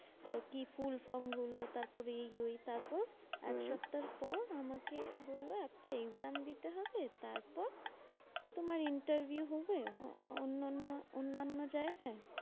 আচ্ছা কি full form গুলো তারপরে এইযে তারপর হম এক সপ্তাহর পর আমাকে বললো একটা exam দিতে হবে। তারপর তোমার interview হবে অন্যান্য অন্যান্য জায়গায়।